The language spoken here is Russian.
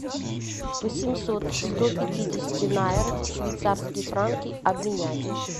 восемьсот сто пятидесяти найр в швейцарские франки обменять